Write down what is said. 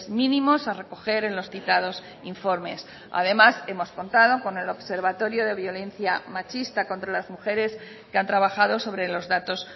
mínimos a recoger en los citados informes además hemos contado con el observatorio de violencia machista contra las mujeres que han trabajado sobre los datos